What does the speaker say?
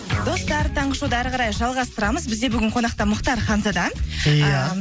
достар таңғы шоуды әрі қарай жалғастырамыз бізде бүгін қонақта мұхтар ханзада иә